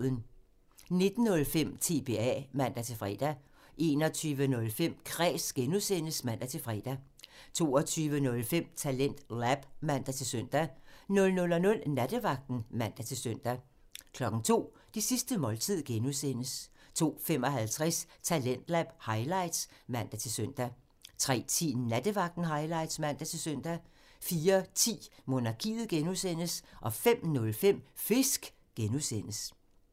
19:05: TBA (man-fre) 21:05: Kræs (G) (man-fre) 22:05: TalentLab (man-søn) 00:00: Nattevagten (man-søn) 02:00: Det sidste måltid (G) 02:55: Talentlab highlights (man-søn) 03:10: Nattevagten highlights (man-søn) 04:10: Monarkiet (G) 05:05: Fisk (G)